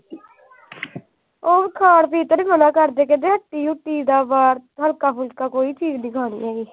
ਉਹ ਖਾਣ ਪੀਣ ਤਾਂ ਨਹੀਂ ਹੋਣਾ ਘਰ ਦੇ ਕਹਿੰਦੇ ਹੱਟੀ ਹੁੱਟੀ ਦਾ ਬਾਹਰ। ਹਲਕਾ ਫੁਲਕਾ ਕੋਈ ਚੀਜ ਨੀ ਖਾਣੀ ਹੈਗੀ।